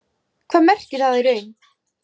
Hvað merkir það í raun?